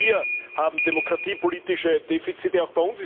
Auch wir haben demokratiepolitische Defizite.